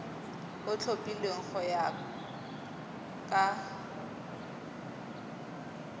o tlhophilweng go ya ka